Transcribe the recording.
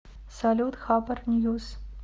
салют хабар ньюс